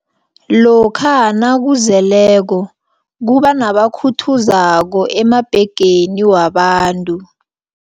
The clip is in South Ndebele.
Lokha nakuzeleko kubanabakhuthuzako emabhegeni wabantu.